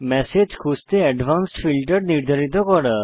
message খুঁজতে advanced filter নির্ধারিত করা